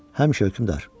Həmişə, hökmdar.